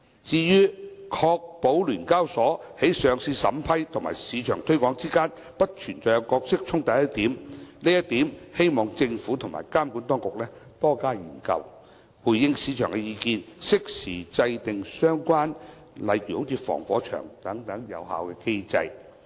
至於"確保聯交所在上市審批與市場推廣之間不會存在角色衝突"一點，希望政府和監管當局多加研究，回應市場的意見，適時制訂例如防火牆等相關有效機制。